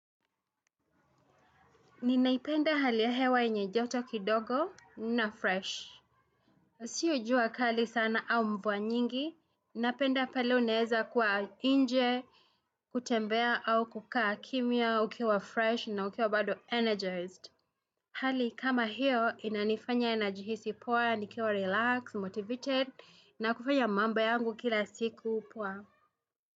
Ninaipenda hali ya hewa enye joto kidogo na fresh. Sio jua kali sana, au mvua nyingi. Napenda pale unaeza kua inje, kutembea au kukaa kimya, ukiwa fresh na ukiwa bado energized. Hali kama hiyo, inanifanya najihisi poa, nikiwa relaxed, motivated na kufanya mambo yangu kila siku, pua.